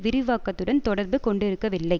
விரிவாக்கத்துடன் தொடர்பு கொண்டிருக்கவில்லை